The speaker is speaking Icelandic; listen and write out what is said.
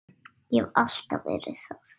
Ég hef alltaf verið það.